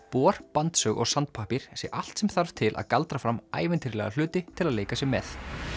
bor bandsög og sandpappír sé allt sem þarf til að galdra fram ævintýralega hluti til að leika sér með